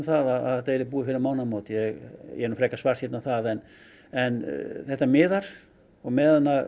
að þetta sé búið fyrir mánaðarmót ég er nú frekar svartsýnn á það en þetta miðar og meðan að